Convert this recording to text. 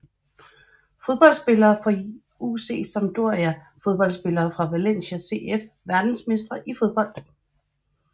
Fodboldspillere fra UC Sampdoria Fodboldspillere fra Valencia CF Verdensmestre i fodbold